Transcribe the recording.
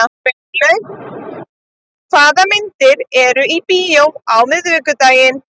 Sveinlaug, hvaða myndir eru í bíó á miðvikudaginn?